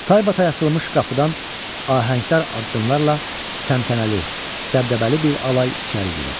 Taybatay açılmış qapıdan ahəngdar addımlarla təntənəli, dəbdəbəli bir alay içəri girir.